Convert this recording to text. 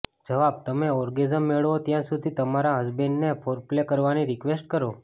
જવાબઃ તમે ઓર્ગેઝમ મેળવો ત્યાં સુધી તમારા હસબન્ડને ફોરપ્લે કરવાની રિક્વેસ્ટ કરો